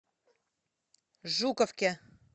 жуковке